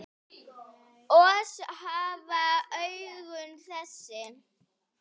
Oss hafa augun þessi